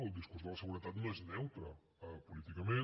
el discurs de la seguretat no és neutre políticament